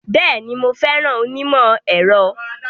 Bẹ́ẹ̀ni, mo fẹ́ràn onímọ̀-ẹ̀rọ.